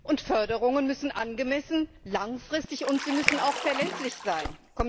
Und Förderungen müssen angemessen, langfristig und auch verlässlich sein.